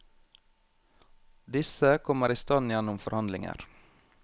Disse kommer i stand gjennom forhandlinger.